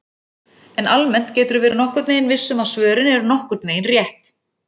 En almennt geturðu verið nokkurn veginn viss um að svörin eru nokkurn veginn rétt!